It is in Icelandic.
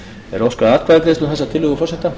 er óskað atkvæðagreiðslu um þessa tillögu forseta